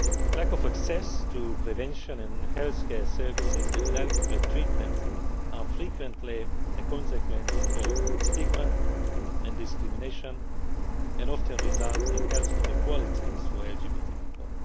Lack of access to prevention and health care services and inadequate treatment are frequently a consequence of stigma and discrimination, and often result in health inequalities for LGBT people.